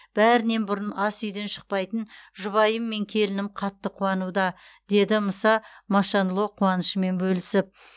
бәрінен бұрын ас үйден шықпайтын жұбайым мен келінім қатты қуануда деді мұса машанло қуанышымен бөлісіп